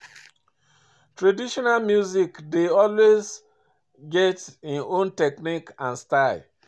Traditional music dey always get im own technique and style